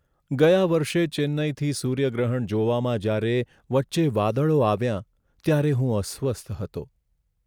ગયા વર્ષે ચેન્નઈથી સૂર્યગ્રહણ જોવામાં જ્યારે વચ્ચે વાદળો આવ્યા ત્યારે હું અસ્વસ્થ હતો.